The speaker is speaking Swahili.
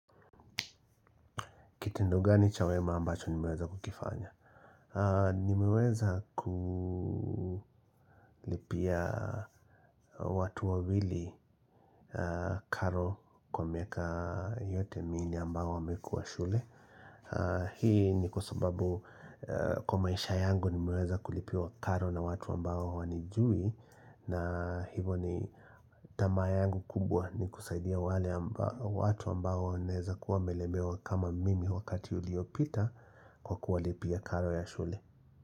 Kitendo gani cha wema ambacho nimeweza kukifanya? Nimeweza kulipia watu wawili karo kwa miaka yote minne ambao wamekua shule. Hii ni kwa sababu kwa maisha yangu nimeweza kulipiwa karo na watu ambao hawanijui. Na hivo ni tamaa yangu kubwa ni kusaidia wale watu ambao wanaeza kuwa wamelemewa kama mimi wakati uliopita. Kwa kuwalipia karo ya shule.